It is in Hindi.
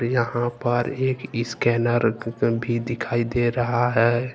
यहां पर एक स्कैनर भी दिखाई दे रहा है।